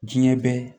Diɲɛ bɛ